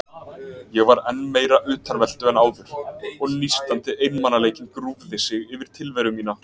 Ég var enn meira utanveltu en áður og nístandi einmanaleikinn grúfði sig yfir tilveru mína.